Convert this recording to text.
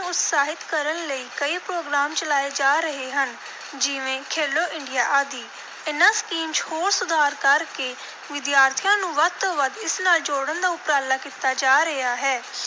ਉਤਸ਼ਾਹਿਤ ਕਰਨ ਲਈ ਕਈ program ਚਲਾਏ ਜਾ ਰਹੇ ਹਨ, ਜਿਵੇਂ ਖੇਲੋ ਇੰਡੀਆ ਆਦਿ। ਇਨ੍ਹਾਂ ਸਕੀਮ ਚ ਹੋਰ ਸੁਧਾਰ ਕਰ ਕੇ ਵਿਦਿਆਰਥੀਆਂ ਨੂੰ ਵੱਧ ਤੋਂ ਵੱਧ ਇਸ ਨਾਲ ਜੋੜਨ ਦਾ ਉਪਰਾਲਾ ਕੀਤਾ ਜਾ ਰਿਹਾ ਹੈ,